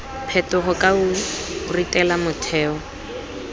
phetogo ka o ritela metheo